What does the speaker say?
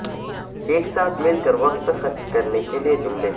ایک ساتھ مل کر وقت خرچ کرنے کے لئے جملے